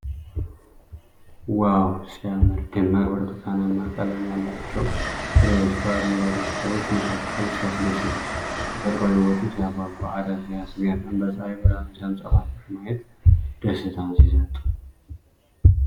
ዋው ሲያምር ! ደማቅ ብርቱካናማ ቀለም ያላቸው ፍሬዎች በአረንጓዴ ቅጠሎች መካከል ሲያስደስቱ ! ተፈጥሮአዊ ውበቱ ሲያጓጓ ! እረ ሲያስገርም ! በፀሐይ ብርሃን ሲያንጸባርቁ ማየት ደስታን ሲሰጥ !